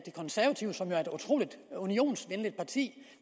konservative som jo er et utrolig unionsvenligt parti